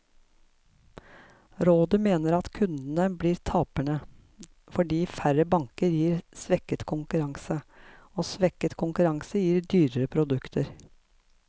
Rådet mener at kundene blir tapere, fordi færre banker gir svekket konkurranse, og svekket konkurranse gir dyrere produkter.